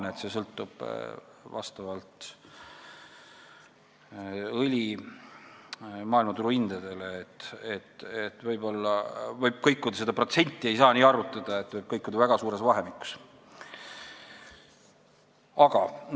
Nii et see võib vastavalt õli maailmaturu hindadele kõikuda – seda protsenti ei saa nii arvutada, see võib väga suures vahemikus kõikuda.